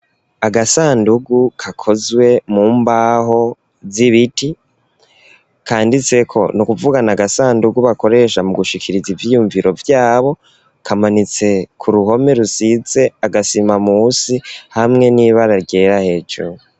Agasandugu kakozwe mu mbaho z'ibiti, kanditse ko n'ukuvugana agasandugu bakoresha mu gushikiriza ivyyumviro vyabo kamanitse ku ruhome rusitse agasima musi hamwe n'ibara ryera hejuru.